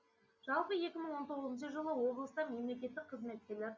жалпы екі мың он тоғызыншы жылы облыста мемлекеттік қызметкерлер